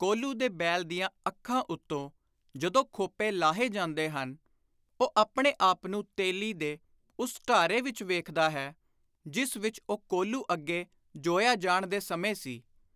ਕੋਹਲੂ ਦੇ ਬੈਲ ਦੀਆਂ ਅੱਖਾਂ ਉੱਤੋਂ ਜਦੋਂ ਖੋਪੇ ਲਾਹੇ ਜਾਂਦੇ ਹਨ, ਉਹ ਆਪਣੇ ਆਪ ਨੂੰ ਤੇਲੀ ਦੇ ਉਸੇ ਢਾਰੇ ਵਿਚ ਵੇਖਦਾ ਹੈ, ਜਿਸ ਵਿਚ ਉਹ ਕੋਹਲੂ ਅੱਗੇ ਜੋਇਆ ਜਾਣ ਦੇ ਸਮੇਂ ਸੀ।